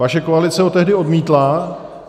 Vaše koalice ho tehdy odmítla.